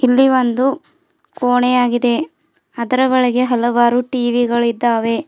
ಇಲ್ಲಿ ಒಂದು ಕೋಣೆಯಾಗಿದೆ ಅದರ ಒಳಗೆ ಹಲವಾರು ಟಿ_ವಿ ಗಳು ಇದ್ದಾವೆ.